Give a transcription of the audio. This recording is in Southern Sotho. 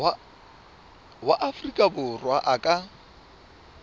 wa afrika borwa a ka